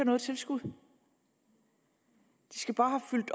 noget tilskud de skal bare have fyldt